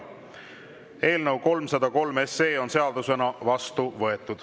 Eelnõu 303 on seadusena vastu võetud.